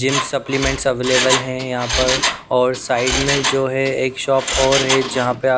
gym supplements available हैं यहाँ पर और साइड में जो है एक शॉप और है जहाँ पर आप--